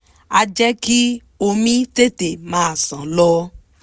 á jẹ́ kí omi tètè máa ṣàn lọ